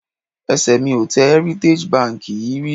Ẹsẹ̀ mi ò tẹ Heritage Bank yìí rí